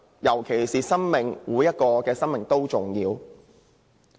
尤其是，每一條生命都很重要。